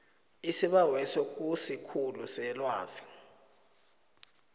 isibaweso kusikhulu selwazi